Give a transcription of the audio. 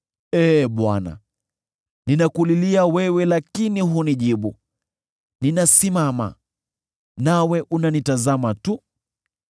“Ee Bwana , ninakulilia wewe lakini hunijibu; ninasimama, nawe unanitazama tu.